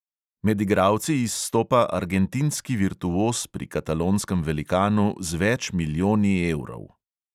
Med igralci izstopa argentinski virtuoz pri katalonskem velikanu z več milijoni evrov.